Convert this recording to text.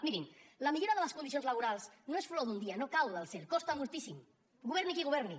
mirin la millora de les condicions laborals no és flor d’un dia no cau del cel costa moltíssim governi qui governi